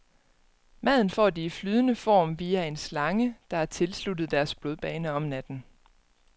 Maden får de i flydende form via en slange, der er tilsluttet deres blodbane om natten.